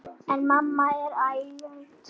En mamma er ágæt.